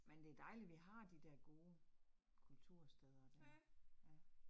Men det dejligt, vi har de der gode kultursteder der. Ja